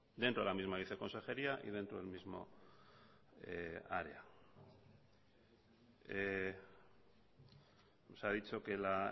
dentro de la misma viceconsejería y dentro del mismo área nos ha dicho que la